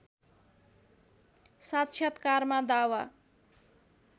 साक्षात्कारमा दावा